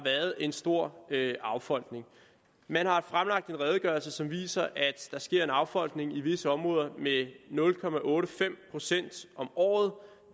en stor affolkning man har fremlagt en redegørelse som viser at der sker en affolkning i visse områder med nul procent om året og